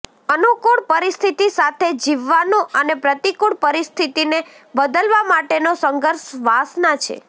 અનુકૂળ પરિસ્થિતિ સાથે જીવવાનું અને પ્રતિકૂળ પરિસ્થિતિને બદલવા માટેનો સંઘર્ષ વાસના છે